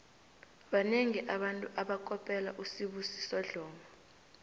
banengi abantu abakopela usibusiso dlomo